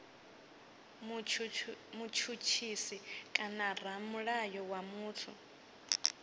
mutshutshisi kana ramulayo wa muthu